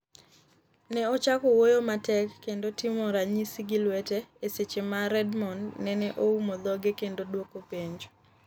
Ne ochako wuoyo matek kendo timo ranyisi gi lwete, e seche ma Redmond nene oumo dhoge kendo duoko penjo.